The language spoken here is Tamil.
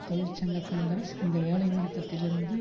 தொழிற்சங்க காங்கிரஸ் இந்த வேலை நிறுத்தத்திலிருந்து